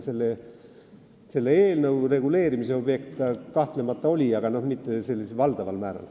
Selle eelnõu reguleerimise objekt see kahtlemata oli, aga mitte valdaval määral.